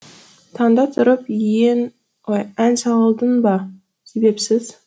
таңда тұрып ән салдың ба себепсіз